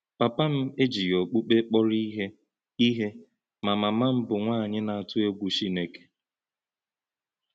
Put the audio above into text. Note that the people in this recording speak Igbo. Pāpā́ m èjìghị̀ òkùkpẹ̀ kpọ́rọ̀ íhè, íhè, má māmā́ m bụ́ nwányị̀ nā-ātụ̀ ègwú Chínēké.